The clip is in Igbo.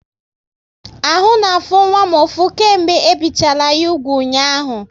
Ahụ na afụ nwa m ụfụ, kemgbe e bichala ya úgwù ụnyaahụ